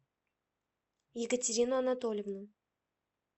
екатерину анатольевну